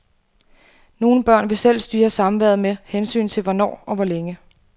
Nogle børn vil selv styre samværet med hensyn til hvornår og hvor længe.